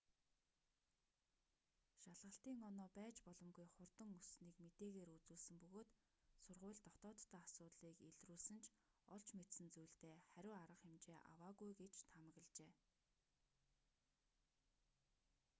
шалгалтын оноо байж боломгүй хурдан өссөнийг мэдээгээр үзүүлсэн бөгөөд сургууль дотооддоо асуудлыг илрүүлсэн ч олж мэдсэн зүйлдээ хариу арга хэмжээ аваагүй гэж таамаглажээ